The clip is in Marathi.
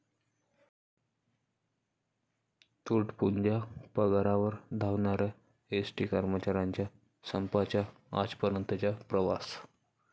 तुटपुंज्या पगारावर 'धावणाऱ्या' एसटी कर्मचाऱ्यांचा संपाचा आजपर्यंतचा प्रवास